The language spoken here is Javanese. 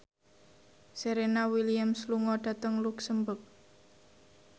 Serena Williams lunga dhateng luxemburg